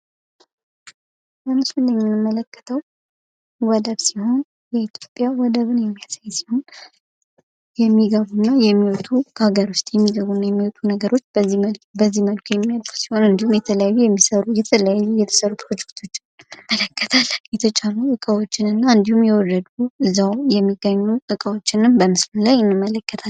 በምስሉ ላይ የምንመለከተው ወደብ ሲሆን ፤ በኢትዮጵያ ወደብን የሚያሳይ ሲሆን ፤ የሚገቡ እና የሚወጡ፣ ከሃገር ዉስጥ የሚገቡ እና የሚወጡ ነገሮች በዚህ መልኩ የሚመጡ ሲሆን እንዲሁም የተለያዩ የተሰሩ ፕሮጀክቶችን እንመለከታለን። የተጫኑ እቃዎችን እና እንዲሁም የወረዱ፣ እዛዉ የሚገኙ እቃዎችንም በምስሉ ላይ እንመለከታለን።